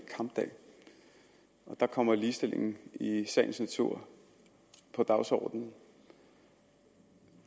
kampdag der kommer ligestillingen i sagens natur på dagsordenen